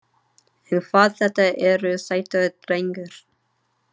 En hvað þetta eru sætir drengir.